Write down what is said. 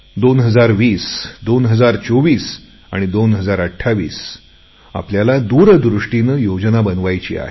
2020 2024 2028 आपल्याला दूरदृष्टीने योजना बनवायची आहे